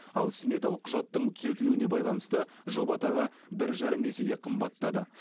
ал сметалық құжаттың түзетілуіне байланысты жоба тағы бір жарым есеге қымбаттады